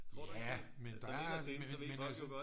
Tror du ikke det altså inderst inde så ved folk jo godt